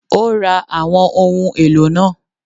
Ó ra àwọn ohun èlò náà